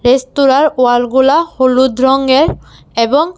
রেস্তোরার ওয়ালগুলা হলুদ রঙ্গের এবং--